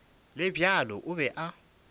le bjalo o be a